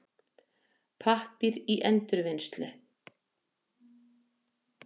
Pappír í endurvinnslu.